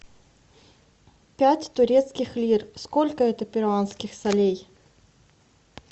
пять турецких лир сколько это перуанских солей